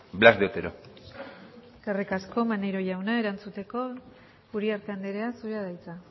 blas de otero eskerrik asko maneiro jauna erantzuteko uriarte andrea zurea da hitza